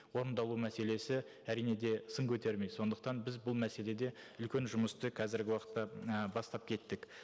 орындалу мәселесі әрине де сын көтермейді сондықтан біз бұл мәселеде үлкен жұмысты қазіргі уақытта ы бастап кеттік